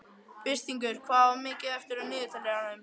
Birtingur, hvað er mikið eftir af niðurteljaranum?